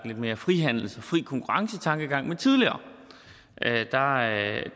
lidt mere frihandels eller fri konkurrence tankegang men tidligere